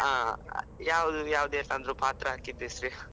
ಹಾ, ಯಾವ್ದು ಪಾತ್ರ ಹಾಕಿದ್ದು ಹೆಸ್ರು?